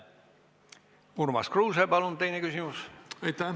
Urmas Kruuse, palun, teine küsimus!